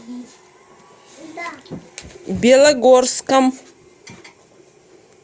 белогорском